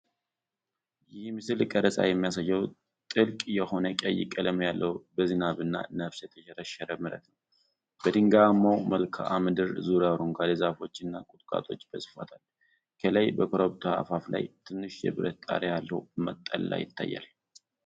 ይህ የምስል ቀረፃ የሚያሳየው ጥልቅ የሆነ ቀይ ቀለም ያለው በዝናብና ነፋስ የተሸረሸረ መሬት ነው። በድንጋያማው መልክዓ ምድር ዙሪያ አረንጓዴ ዛፎችና ቁጥቋጦዎች በስፋት አሉ። ከላይ በኮረብታው አፋፍ ላይ ትንሽ የብረት ጣሪያ ያለው መጠለያ ይታያል።